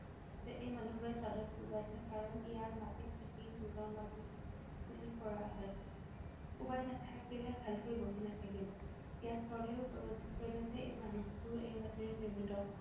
যে এই মানু্হবোৰে চাদত কোবাইছে কাৰণ ইয়াত মাটিত পিতি নিজৰ মাটিত কৰা হয়। কোবাই নাথাকিলে ভালকৈ বহি নাথাকিব। ইয়াত চৰ্দাৰে উপলব্ধি কৰিলে যে এই মানুহবোৰো এই মাটিৰে নিৰ্মিত।